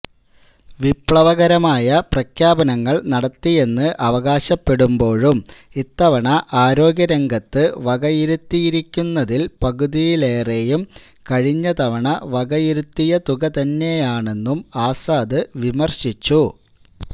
വിപ്ലവകരമായ പ്രഖ്യാപനങ്ങൾ നടത്തിയെന്ന് അവകാശപ്പെടുമ്പോഴും ഇത്തവണ ആരോഗ്യരംഗത്തു വകയിരുത്തിയിരിക്കുന്നതിൽ പകുതിയിലേറെയും കഴിഞ്ഞ തവണ വകയിരുത്തിയ തുക തന്നെയാണെന്നും ആസാദ് വിമർശിച്ചു